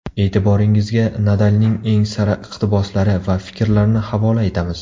E’tiboringizga Nadalning eng sara iqtiboslari va fikrlarini havola etamiz.